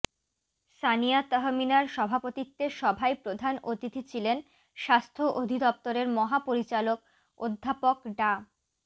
সানিয়া তহমিনার সভাপতিত্বে সভায় প্রধান অতিথি ছিলেন স্বাস্থ্য অধিদপ্তরের মহাপরিচালক অধ্যাপক ডা